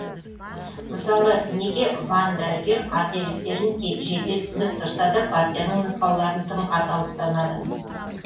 мысалы неге ван дәрігер қателіктерін жете түсініп тұрса да партияның нұсқауларын тым қатал ұстанады